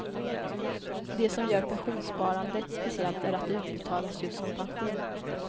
Det som gör pensionssparandet speciellt är att det utbetalas just som pension.